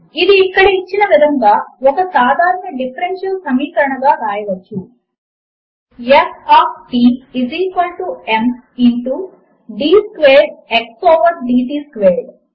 ఇది ఇక్కడ ఇచ్చిన విధముగా ఒక సాధారణ డిఫరెన్షియల్ సమీకరణముగా వ్రాయవచ్చు160F of t is equal to m into d squared x over d t squared